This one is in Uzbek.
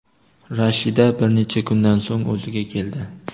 Rashida bir necha kundan so‘ng o‘ziga keldi.